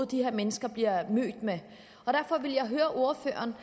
de her mennesker bliver mødt med derfor vil jeg høre ordføreren